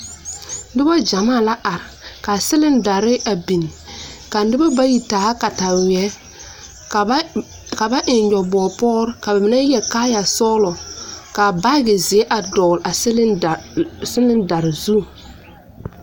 Noba gyɛmaa la are ka silindare a biŋ ka noba bayi taa kataweɛ ka ba ka ba eŋ nyɔbogre pɔre ka ba mine yɛre kayɛsɔglɔ ka baagizeɛ a dɔgle a cylider silindare zu.